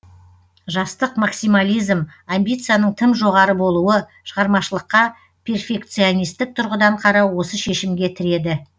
жастық максимализм амбицияның тым жоғары болуы шығармашылыққа перфекционистік тұрғыдан қарау осы шешімге тіреді